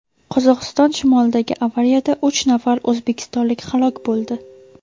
Qozog‘iston shimolidagi avariyada uch nafar o‘zbekistonlik halok bo‘ldi.